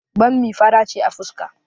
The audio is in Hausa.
Bommi fara ce a fuska